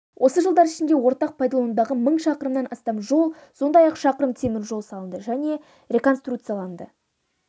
осы жылдар ішінде ортақ пайдаланудағы мың шақырымнан астам жол сондай-ақ шақырым темір жол салынды және реконструкцияланды